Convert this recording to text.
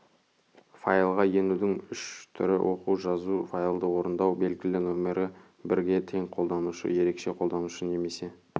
файлға енудің үш түрі оқу жазу файлды орындау белгілі нөмірі бірге тең қолданушы ерекше қолданушы немесе